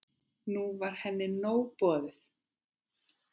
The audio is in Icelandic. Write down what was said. Nú var henni nóg boðið.